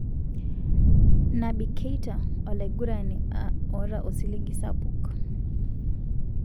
Naby Keita:Olaigurani ota osiligi sapuk.